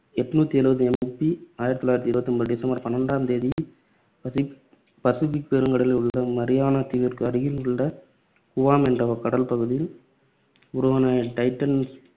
எட்நூத்தி எழுபது MB ஆயிரத்து தொள்ளாயிரத்து இருபத்து ஒன்பது டிசம்பர் பண்ணிரெண்டாம் தேதி பசி~ பசிபிக் பெருங்கடலில் உள்ள மரியானா தீவிற்கு அருகில் உள்ள குவாம் என்ற கடல் பகுதியில் உருவான டைட்டன்